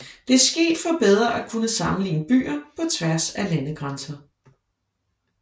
Det er sket for bedre at kunne sammenligne byer på tværs af landegrænser